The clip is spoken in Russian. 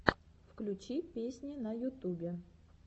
включи песни на ютубе